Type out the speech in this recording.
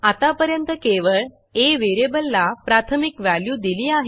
आत्तापर्यंत केवळ आ व्हेरिएबलला प्राथमिक व्हॅल्यू दिली आहे